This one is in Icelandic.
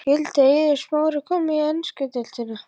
Skyldi Eiður Smári koma í ensku deildina?